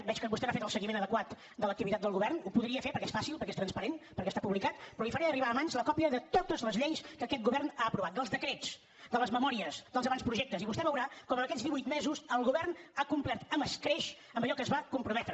veig que vostè n’ha fet un seguiment adequat de l’activitat del govern ho podria fer perquè és fàcil perquè és transparent perquè està publicat però li faré a mans la còpia de totes les lleis que aquest govern ha aprovat dels decrets de les memòries dels avantprojectes i vostè veurà com en aquests divuit mesos el govern ha complert amb escreix amb allò a què es va comprometre